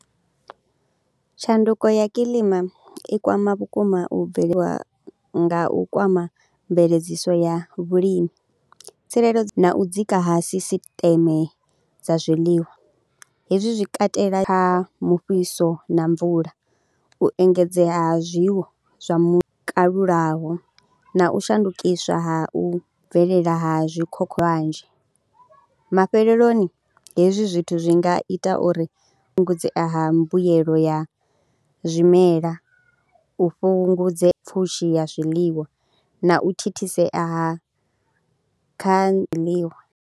Tshanduko ya kilima i kwama vhukuma u bveliwa nga u kwama mveledziso ya vhulimi, tsireledzo na u dzika ha sisiṱeme dza zwiḽiwa. Hezwi zwi katela kha mufhiso na mvula, u engedzea ha zwiwo zwa mu kalulaho na u shandukiswa ha u bvelela ha zwikhokhowanzhi. Mafheleloni hezwi zwithu zwi nga ita uri hu fhungudzee ha mbuyelo ya zwimela, u fhungudze pfhushi ya zwiḽiwa na u thithisea ha kha zwiḽiwa.